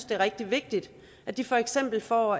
det er rigtig vigtigt at de for eksempel får